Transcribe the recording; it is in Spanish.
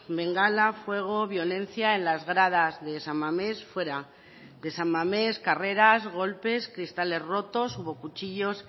bengala fuego violencia en las gradas de san mamés fuera de san mamés carreras golpes cristales rotos hubo cuchillos